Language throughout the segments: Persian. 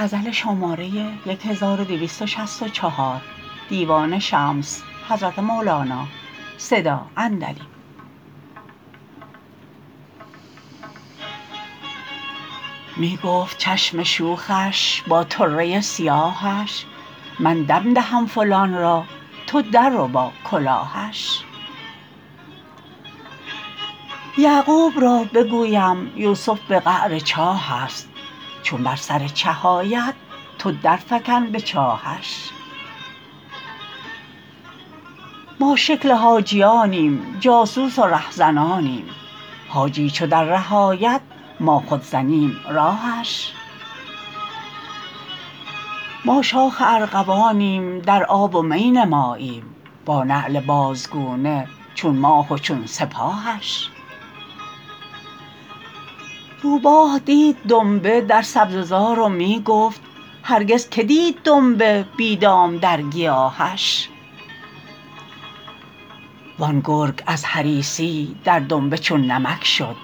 می گفت چشم شوخش با طره سیاهش من دم دهم فلان را تو درربا کلاهش یعقوب را بگویم یوسف به قعر چاهست چون بر سر چه آید تو درفکن به چاهش ما شکل حاجیانیم جاسوس و رهزنانیم حاجی چو در ره آید ما خود زنیم راهش ما شاخ ارغوانیم در آب و می نماییم با نعل بازگونه چون ماه و چون سپاهش روباه دید دنبه در سبزه زار و می گفت هرگز کی دید دنبه بی دام در گیاهش وان گرگ از حریصی در دنبه چون نمک شد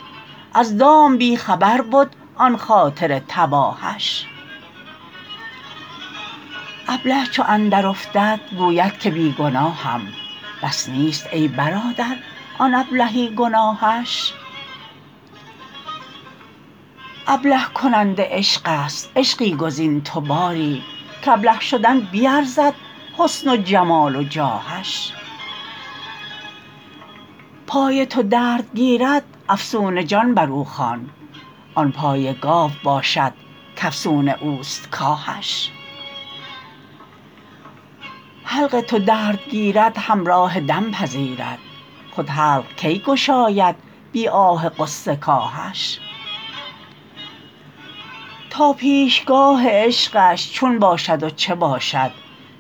از دام بی خبر بد آن خاطر تباهش ابله چو اندرافتد گوید که بی گناهم بس نیست ای برادر آن ابلهی گناهش ابله کننده عشقست عشقی گزین تو باری کابله شدن بیرزد حسن و جمال و جاهش پای تو درد گیرد افسون جان بر او خوان آن پای گاو باشد کافسون اوست کاهش حلق تو درد گیرد همراه دم پذیرد خود حلق کی گشاید بی آه غصه کاهش تا پیشگاه عشقش چون باشد و چه باشد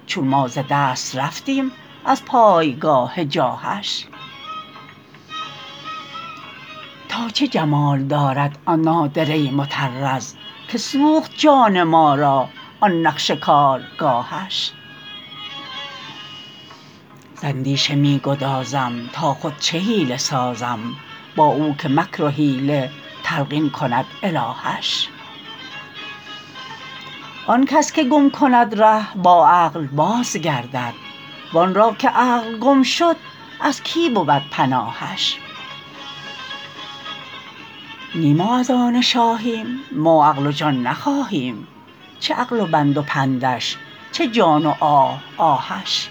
چون ما ز دست رفتیم از پای گاه جاهش تا چه جمال دارد آن نادره مطرز که سوخت جان ما را آن نقش کارگاهش ز اندیشه می گذارم تا خود چه حیله سازم با او که مکر و حیله تلقین کند الهش آن کس که گم کند ره با عقل بازگردد وان را که عقل گم شد از کی بود پناهش نی ما از آن شاهیم ما عقل و جان نخواهیم چه عقل و بند و پندش چه جان و آه آهش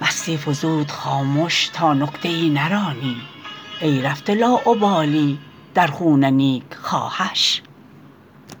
مستی فزود خامش تا نکته ای نرانی ای رفته لاابالی در خون نیکخواهش